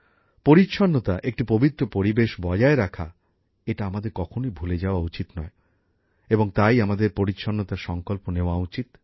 পরিচ্ছন্নতা একটি পবিত্র পরিবেশ বজায় রাখা এটা আমাদের কখনই ভুলে যাওয়া উচিত নয় এবং তাই আমাদের পরিচ্ছন্নতার সংকল্প নেয়া উচিত